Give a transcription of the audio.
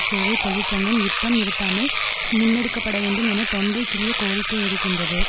சேவை தொழிற்சங்கம் யுத்தம் நிறுத்தாமல் முன்னெடுக்க பட வேண்டும் என தொண்டை கிழிய கோரிக்கை விடுக்கின்றது